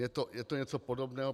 Je to něco podobného.